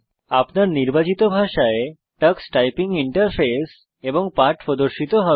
আপনার নির্বাচিত ভাষায় টক্স টাইপিং ইন্টারফেস এবং পাঠ প্রদর্শিত হবে